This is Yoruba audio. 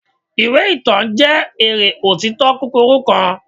iwe itan jẹ eré otito kukuru kan